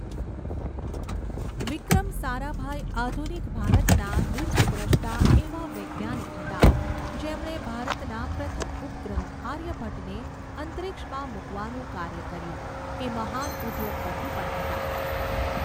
વિક્રમ સારાભાઈ આધુનિક ભારતના દીર્ઘદૃષ્ટા એવા વૈજ્ઞાનિક હતા જેમણે ભારતના પ્રથમ ઉપગ્રહ આર્યભટ્ટને અંતરિક્ષમાં મુકવાનું કાર્ય કર્યું એ મહાન ઉદ્યોગપતિ પણ હતા.